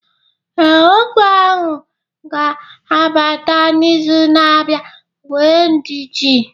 Ee, ọgwụ ahụ ga-abata n'izu na-abịa, nwee ndidi